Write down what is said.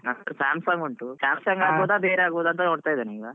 ನನ್ ಅತ್ರ samsung ಉಂಟು. samsung ಆಗ್ಬಹುದಾ ಬೇರೆ ಆಗ್ಬಹುದಾ ಅಂತ ನೋಡ್ತಾ ಇದ್ದೇನೆ ಈಗ.